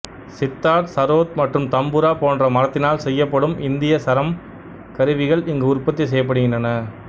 சித்தார் சரோத் மற்றும் தம்புரா போன்ற மரத்தினால் செய்யப்படும் இந்திய சரம் கருவிகள் இங்கு உற்பத்தி செய்யப்படுகின்றன